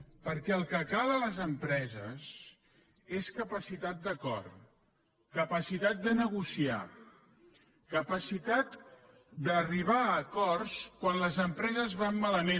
perquè el que cal a les empreses és capacitat d’acord capacitat de negociar capacitat d’arribar a acords quan les empreses van malament